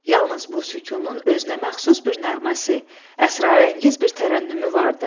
Yalnız bu sükunun özünə məxsus bir nəğməsi, əsrarəngiz bir tərənnümü vardı.